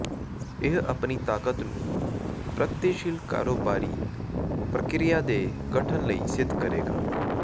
ਇਹ ਆਪਣੀ ਤਾਕਤ ਨੂੰ ਪ੍ਰਗਤੀਸ਼ੀਲ ਕਾਰੋਬਾਰੀ ਪ੍ਰਕਿਰਿਆ ਦੇ ਗਠਨ ਲਈ ਸਿੱਧ ਕਰੇਗਾ